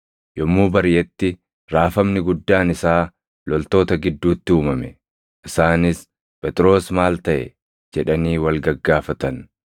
Yommuu bariʼetti raafamni guddaan isaa loltoota gidduutti uumame; isaanis, “Phexros maal taʼe?” jedhanii wal gaggaafatan.